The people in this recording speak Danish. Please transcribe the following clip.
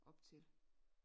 Op til